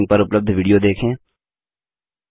निम्न लिंक पर उपलब्ध विडियो देखें